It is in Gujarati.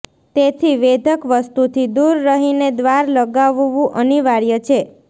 તેથી વેધક વસ્તુથી દૂર રહીને દ્વાર લગાવવું અનિવાર્ય છે